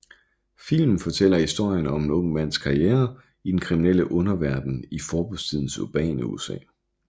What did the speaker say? Filmen fortæller historien om en ung mands karriere i den kriminelle underverden i forbudstidens urbane USA